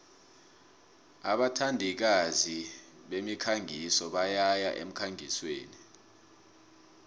abathandikazi bemikhangiso boyaya emkhangisweni